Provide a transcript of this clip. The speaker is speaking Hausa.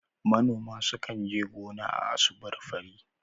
Manoma sukan je gona a asubar fari.